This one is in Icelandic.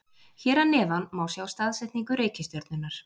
Hér að neðan má sjá staðsetningu reikistjörnunnar.